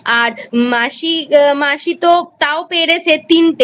আর মাসি মাসি তো তাও পেরেছে তিনটে